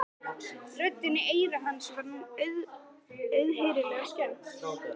Röddinni í eyra hans var nú auðheyrilega skemmt.